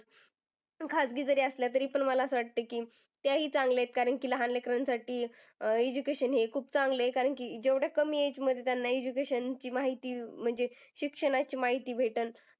खाजगी जरी असल्या तरी पण मला असं वाटत की त्याही चांगल्या आहेत. कारण की लहान लेकरांसाठी अह education हे खूप चांगलं आहे. कारण की जेवढ कमी age मध्ये त्यांना education ची माहिती म्हणजे शिक्षणाची माहिती भेटल.